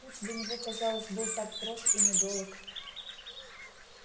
путь до него казалось был так прост и недолог